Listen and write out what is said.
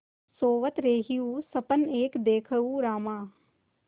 सोवत रहेउँ सपन एक देखेउँ रामा